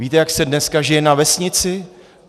Víte, jak se dneska žije na vesnici?